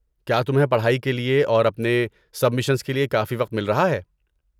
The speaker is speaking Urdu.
کیا تمہیں پڑھائی کے لیے اور اپنی سبمیشنز کے لیے کافی وقت مل رہا ہے؟